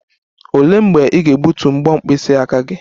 Olee mgbe ị ga-egbutu mbo mkpịsị aka gị?